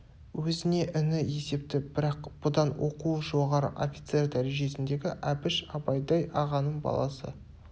өзіне іні есепті бірақ бұдан оқуы жоғары офицер дәрежесіндегі әбіш абайдай ағаның баласы